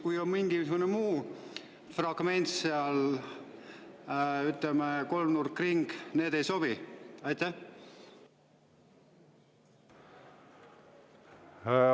Kui on mingisugune muu fragment seal, ütleme, kolmnurk, ring, siis kas need ei sobi?